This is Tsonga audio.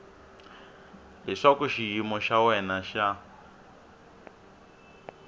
leswaku xiyimo xa wena xa